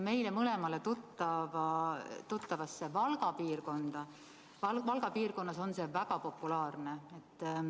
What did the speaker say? Meile mõlemale tuttavas Valga piirkonnas on see väga populaarne.